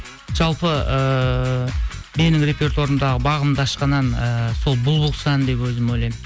жалпы ыыы менің репертуарымдағы бағымды ашқан ән ііі сол бұл бұл құс әні деп өзім ойлаймын